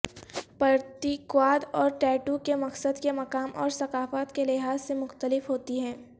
پرتیکواد اور ٹیٹو کے مقصد کے مقام اور ثقافت کے لحاظ سے مختلف ہوتی ہیں